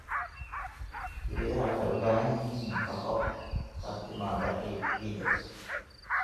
Geedaha waxay u baahan yihiin nafaqo ka timaadda ciidda.